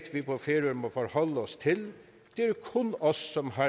vi på færøerne må forholde os til det er kun os som har